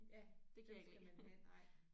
Ja dem skal man have nej